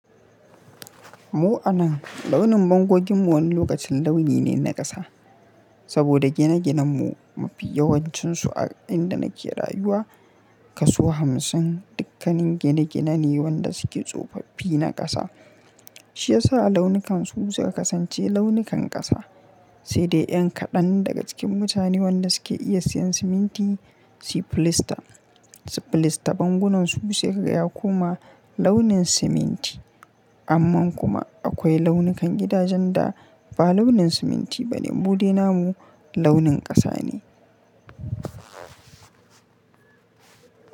Mu a nan, launin bangoginmu wani lokacin launi ne na ƙasa. Saboda gine-ginen mu mafi yawancinsu a inda na ke rayuwa, kaso hamsin, dukkanin gine-gine ne wanda suke tsofaffi na ƙasa. Shi ya sa launukansu suka kasance launukan ƙasa. Sai dai yan kaɗan daga cikin mutane wanda suke iya siyan siminti su filista, su filista bangunansu sai kaga ya koma launin siminti. Amman kuma akwai launukan gidajen da ba launin siminti ba ne, mu dai namu launin ƙasa ne.